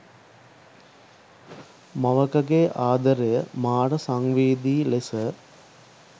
මවකගේ ආදරය මාර සංවේදී ලෙස